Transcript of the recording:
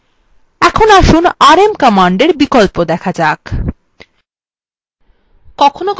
এখন আসুন rm command বিকল্প দেখা যাক